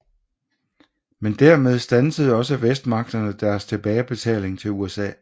Men dermed standsede også Vestmagterne deres tilbagebetaling til USA